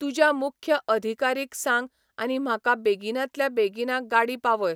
तुज्या मुख्य अधिकारीक सांग आनी म्हाका बेगिनांतल्या बेगिना गाडी पावय.